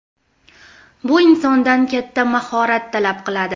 Bu insondan katta mahorat talab qiladi.